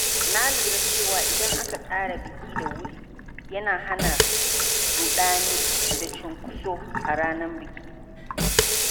Na lura cewa idan aka tsara biki da wuri, yana hana ruɗani da cunkoso a ranar biki.